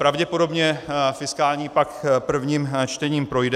Pravděpodobně fiskální pakt prvním čtením projde.